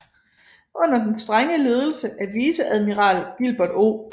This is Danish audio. Under den strenge ledelse af viceadmiral Gilbert O